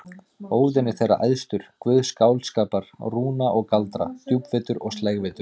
Óðinn er þeirra æðstur, guð skáldskapar, rúna og galdra, djúpvitur og slægvitur.